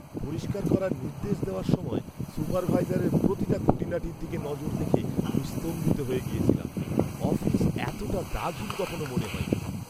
পরিষ্কার করার নির্দেশ দেওয়ার সময় সুপারভাইজারের প্রতিটা খুঁটিনাটির দিকে নজর দেখে আমি স্তম্ভিত হয়ে গেছিলাম। অফিস এতটা দাগহীন কখনো মনে হয়নি!